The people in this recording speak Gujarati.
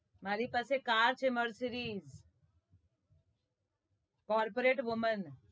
મારી પાસે car છે mercedes corporate women